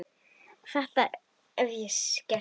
Þetta hef ég gert síðan.